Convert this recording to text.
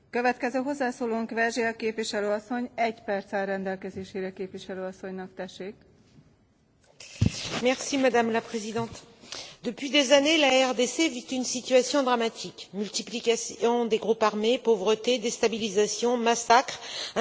Madame la Présidente, depuis des années, la RDC vit une situation dramatique multiplication des groupes armés, pauvreté, déstabilisation, massacres, instrumentalisation de la question ethnique sur fond d'accaparement des ressources par le gouvernement, les pays voisins et les multinationales, notamment européennes.